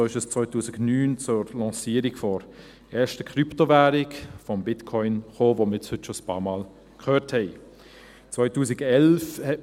So kam es 2009 zur Lancierung der ersten Krypto-Währung, des Bitcoins, von dem wir heute schon ein paarmal gehört haben.